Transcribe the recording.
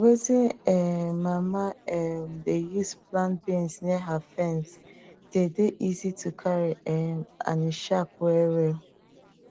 wetin um mama um dey use plant beans near her fence dey dey easy to carry um and e sharp well well